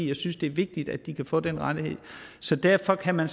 jeg synes det er vigtigt at de kan få den rettighed derfor kan man